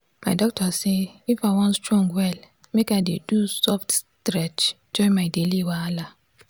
my doctor say if i wan strong well make i dey do soft stretch join my daily wahala.